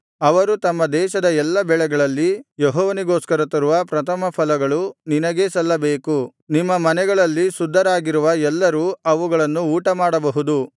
ಅವರು ತಮ್ಮ ದೇಶದ ಎಲ್ಲಾ ಬೆಳೆಗಳಲ್ಲಿ ಯೆಹೋವನಿಗೋಸ್ಕರ ತರುವ ಪ್ರಥಮಫಲಗಳು ನಿನಗೇ ಸಲ್ಲಬೇಕು ನಿಮ್ಮ ಮನೆಗಳಲ್ಲಿ ಶುದ್ಧರಾಗಿರುವ ಎಲ್ಲರೂ ಅವುಗಳನ್ನು ಊಟಮಾಡಬಹುದು